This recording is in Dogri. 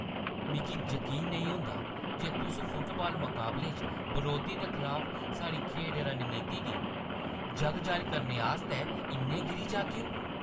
मिगी जकीन नेईं होंदा जे तुस फुटबाल मकाबले च बरोधी दे खलाफ साढ़ी खेढ रणनीति गी जग-जाह्‌र करने आस्तै इन्ने गिरी जाह्‌गेओ।